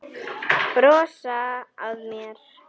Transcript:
Brosa að mér!